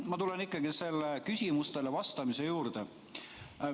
Ma tulen ikkagi küsimustele vastamise juurde.